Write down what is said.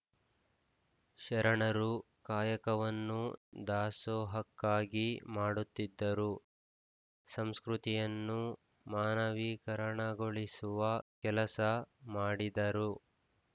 ಶರಣರು ಕಾಯಕವನ್ನು ದಾಸೋಹಕ್ಕಾಗಿ ಮಾಡುತ್ತಿದ್ದರು ಸಂಸ್ಕೃತಿಯನ್ನು ಮಾನವೀಕರಣಗೊಳಿಸುವ ಕೆಲಸ ಮಾಡಿದರು